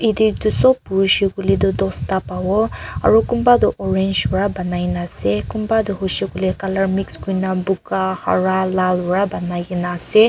jatte etu sob buse koile tu dusta pabo aru kunba tu orange para banai na ase kuna tu hoise koile colour mixed kori kina kala boga hara lal para bonai kina ase.